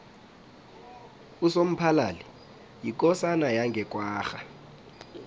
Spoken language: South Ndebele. usomphalali yikosana yange kwagga